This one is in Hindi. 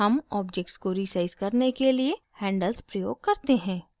हम object को resize करने के लिए handles प्रयोग करते हैं